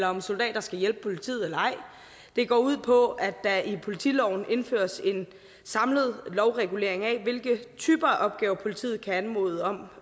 om soldater skal hjælpe politiet eller ej det går ud på at der i politiloven indføres en samlet lovregulering af hvilke typer opgaver politiet kan anmode om